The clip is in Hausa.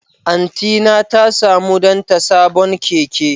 Antyna ta samu danta sabon keke.